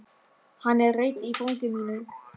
Hann er hreinn í fangi mínu.